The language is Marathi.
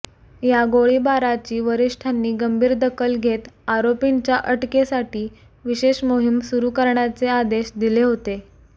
या गोळीबाराची वरिष्ठांनी गंभीर दखल घेत आरोपींच्या अटकेसाठी विशेष मोहीम सुरु करण्याचे आदेश दिले होते